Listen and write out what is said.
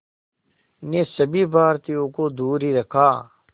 ने सभी भारतीयों को दूर ही रखा